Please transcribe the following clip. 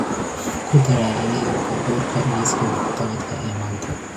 ku daraya adeegga baabuurka liiska wax-qabadka ee maanta